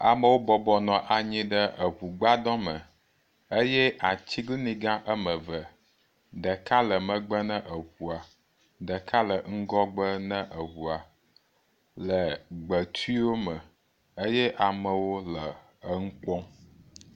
Amewo bɔbɔ nɔ anyi ɖe eŋu gbadɔ me eye atiglinyi gã woame eve, ɖeka le megbe ne eŋua, ɖeka le ŋgɔgbe na eŋua le gbetiwo eye amewo le enu kpɔm.